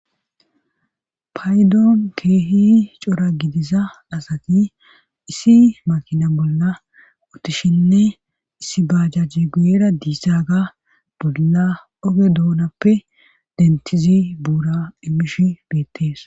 Paydoon keehi cora gidiza asati issi makina bolla ottishinne issi bajajji guyera diisaaga bolla oge duunappe dentizi buura imish beittees